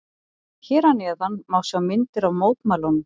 Hér að neðan má sjá myndir af mótmælunum.